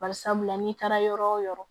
Bari sabula n'i taara yɔrɔ wo yɔrɔ